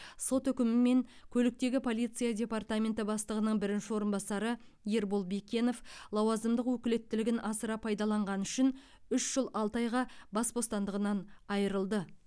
сот үкімімен көліктегі полиция департаменті бастығының бірінші орынбасары ербол бекенов лауазымдық өкілеттілігін асыра пайдаланғаны үшін үш жыл алты айға бас бостандығынан айырылды